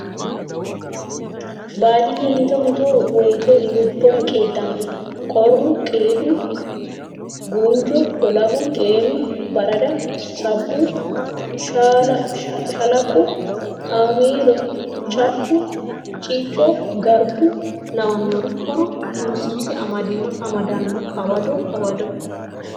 Baadiyye mitto mitto woyte lubbora qiidano qoru qiidu gunjo lolahu xeenu barada sabbu shalaqu haamelo cafu ciico garbu lawinori horo tunsiise amadano hawado hawado.